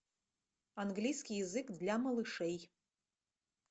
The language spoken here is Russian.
английский язык для малышей